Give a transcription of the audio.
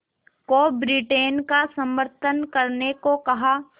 को ब्रिटेन का समर्थन करने को कहा